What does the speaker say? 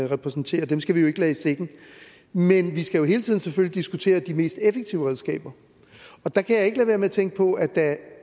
repræsenterer og dem skal vi jo ikke lade i stikken men vi skal jo hele tiden selvfølgelig diskutere de mest effektive redskaber og der kan jeg ikke lade være med at tænke på at